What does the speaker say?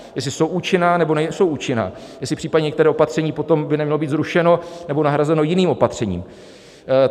Jestli jsou účinná, nebo nejsou účinná, jestli případně některé opatření by potom nemělo být zrušeno nebo nahrazeno jiným opatřením.